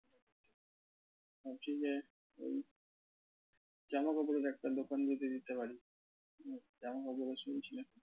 ভাবছি যে ওই জামাকাপড়ের একটা দোকান যদি দিতে পারি। হম